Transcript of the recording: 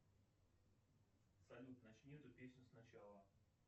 салют начни эту песню сначала